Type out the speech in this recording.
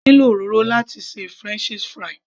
A ní lo òróró láti ṣe french fries